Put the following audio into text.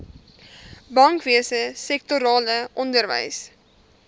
bankwese sektorale onderwys